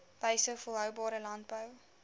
wyses volhoubare landbou